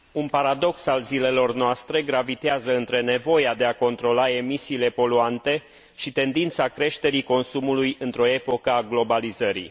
Un paradox al zilelor noastre gravitează între nevoia de a controla emisiile poluante și tendința creșterii consumului într o epocă a globalizării.